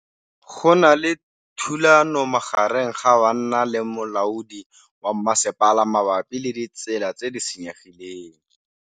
Go na le thulanô magareng ga banna le molaodi wa masepala mabapi le ditsela tse di senyegileng.